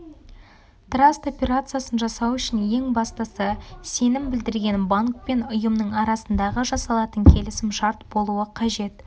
траст операциясын жасау үшін ең бастысы сенім білдірген банк пен ұйымның арасында жасалатын келісім-шарт болуы қажет